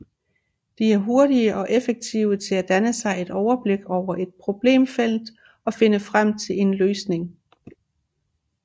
De er hurtige og effektive til at danne sig et overblik over et problemfelt og finde frem til en løsning